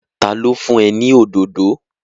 Ta ló fún ẹ ní òdòdó?